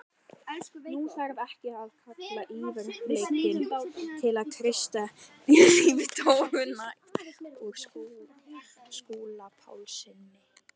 Nú þarf ekki að kalla á yfirdýralækni til að kreista líftóruna úr Skúla Pálssyni.